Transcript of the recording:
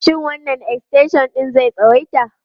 Shin wannan extension ɗin zai tsawaita?